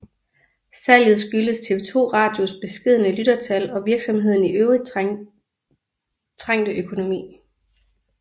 Salget skyldtes TV 2 Radios beskedne lyttertal og virksomhedens i øvrigt trængte økonomi